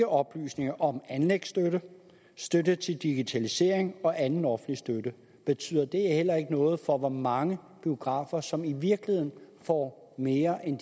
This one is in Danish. oplysninger om anlægsstøtte støtte til digitalisering og anden offentlig støtte betyder det heller ikke noget for hvor mange biografer som i virkeligheden får mere end